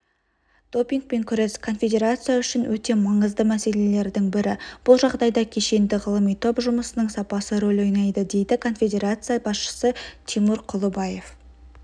допингпен күрес конфедерация үшін өте маңызды мәселелердің бірі бұл жағдайда кешенді-ғылыми топ жұмысының сапасы рөл ойнайды дейді конфедерация басшысы тимур құлыбаев